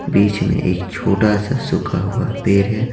बीच में एक छोटा सा सूखा हुआ पेर है ।